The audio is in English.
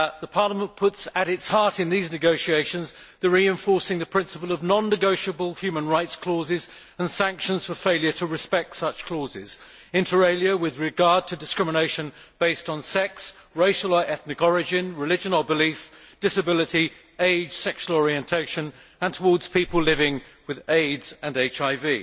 Parliament puts at its heart in these negotiations reinforcing the principle of non negotiable human rights clauses and sanctions for failure to respect such clauses, inter alia, with regard to discrimination based on sex, racial or ethnic origin, religion or belief, disability, age, sexual orientation, and towards people living with AIDS and HIV.